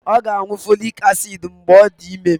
Ọ ga-aṅụ folic acid mgbe ọ dị ime